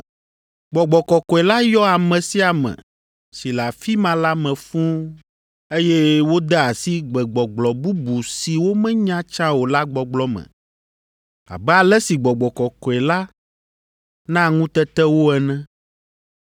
Gbɔgbɔ Kɔkɔe la yɔ ame sia ame si le afi ma la me fũu, eye wode asi gbegbɔgblɔ bubu si womenya tsã o la gbɔgblɔ me abe ale si Gbɔgbɔ Kɔkɔe la na ŋutete wo ene.